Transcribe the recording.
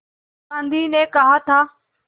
गांधी ने कहा था